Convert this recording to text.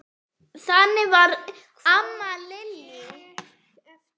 Þannig var amma Lillý.